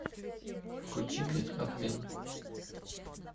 включи мне обмен